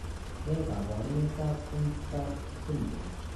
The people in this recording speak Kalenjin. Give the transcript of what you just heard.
Ne kaabarunetap Bjornstad syndrome?